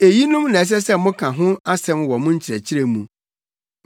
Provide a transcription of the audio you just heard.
Eyinom na ɛsɛ sɛ moka ho asɛm wɔ mo nkyerɛkyerɛ no mu.